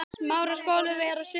Hellið vatninu af og geymið.